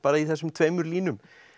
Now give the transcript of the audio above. í þessum tveimur línum